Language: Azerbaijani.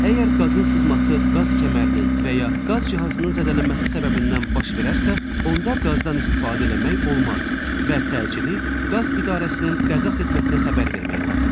Əgər qazın sızması qaz kəmərinin və ya qaz cihazının zədələnməsi səbəbindən baş verərsə, onda qazdan istifadə eləmək olmaz və təcili qaz idarəsinin qəza xidmətinə xəbər vermək lazımdır.